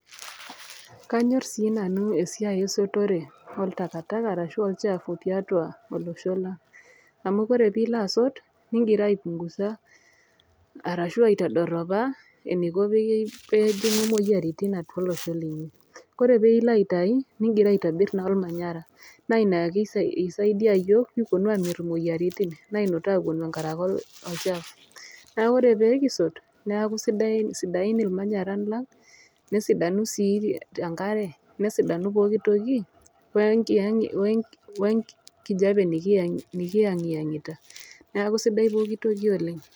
Kanyor sii nanu esiai esotore ontakataka arashu olchafu tiatua olosho lang amu ore pilo asot ningira aipunguza arashu aitodoropa eniko pei pejingu moyiaritin atup olosho lang .Kore pilo aitai nilo aitobir naa ormanyara naina ina isaidia yiok pekiponu amitiki imoyiaritin naidu aponu tenkaraki oltaka neaku ore pekisot neaku sidain irmanyaran lang, nesidanu sii enkare, nesidanu pooki toki we enki enkijape nikiengiangita niaku sidai enatoki oleng.